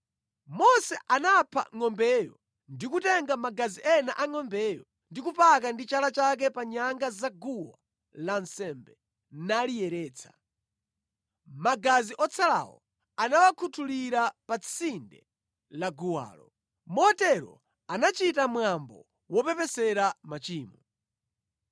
Mose anapha ngʼombeyo, ndi kutenga magazi ena angʼombeyo ndi kupaka ndi chala chake pa nyanga zaguwa lansembe, naliyeretsa. Magazi otsalawo anawakhuthulira pa tsinde laguwalo. Motero anachita mwambo wopepesera machimo.